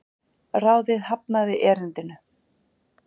Ráðið hafnaði erindinu